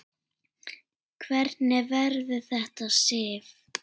Hvernig verður þetta, Sif?